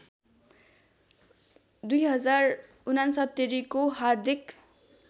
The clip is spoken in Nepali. २०६९ को हार्दिक